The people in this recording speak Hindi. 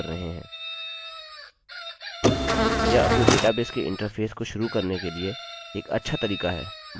हालाँकि हमें इसके बारे में जानने की आवश्यकता नहीं हैयह एक प्रोग्राम के लिए अच्छी शुरुआत हैयदि आप अभीअभी php mysql या केवल mysql को सामान्य तौर पर प्रयोग करना शुरू कर रहे हैं